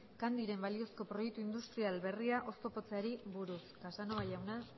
candyren balizko proiektu industrial berria oztopatzeari buruz casanova jauna